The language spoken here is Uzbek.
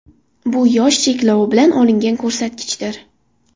Bu yosh cheklovi bilan olingan ko‘rsatkichdir.